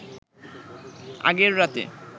আগের রাতে